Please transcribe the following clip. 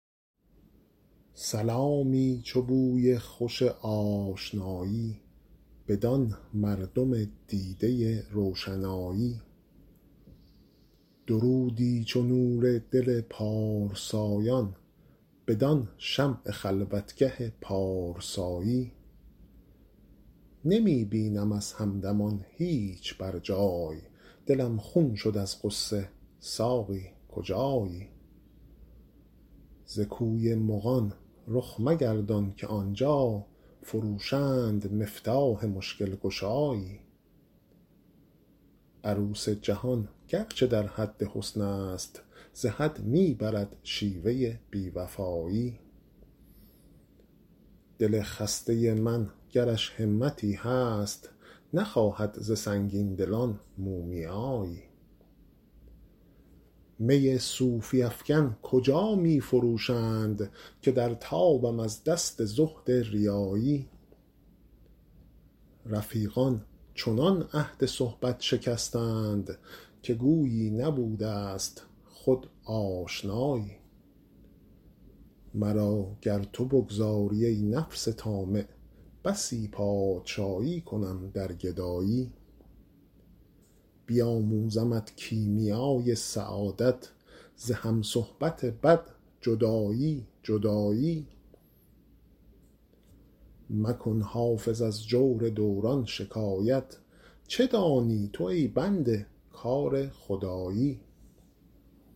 سلامی چو بوی خوش آشنایی بدان مردم دیده روشنایی درودی چو نور دل پارسایان بدان شمع خلوتگه پارسایی نمی بینم از همدمان هیچ بر جای دلم خون شد از غصه ساقی کجایی ز کوی مغان رخ مگردان که آن جا فروشند مفتاح مشکل گشایی عروس جهان گر چه در حد حسن است ز حد می برد شیوه بی وفایی دل خسته من گرش همتی هست نخواهد ز سنگین دلان مومیایی می صوفی افکن کجا می فروشند که در تابم از دست زهد ریایی رفیقان چنان عهد صحبت شکستند که گویی نبوده ست خود آشنایی مرا گر تو بگذاری, ای نفس طامع بسی پادشایی کنم در گدایی بیاموزمت کیمیای سعادت ز هم صحبت بد جدایی جدایی مکن حافظ از جور دوران شکایت چه دانی تو ای بنده کار خدایی